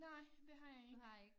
Nej det har jeg ikke